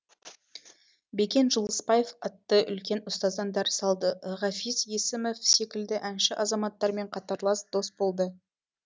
бекен жылыспаев атты үлкен ұстаздан дәріс алды ғафиз есімов секілді әнші азаматтармен қатарлас дос болды